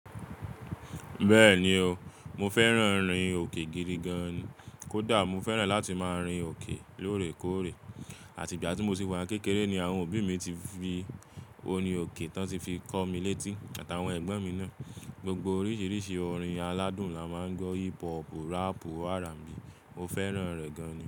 Bẹ́ẹ̀ni o, mo fẹ́ràn orin òkè gidi gan-an ni. Kódà mo fẹ́ràn láti máa rin òkè lóòrèkóòrè àti ìgbà tí mo sì wà ní kékeré ni àwọn òbí mi ti fi orin òkè tán tí fi kọ́ mi létí àtàwọn ẹ̀gbọ́n mi náà. Gbogbo oríṣiríṣi orin aládùn la máa ń gbọ́. Hípú, ràpù, R&B mo fẹ́ràn rẹ̀ gan-an.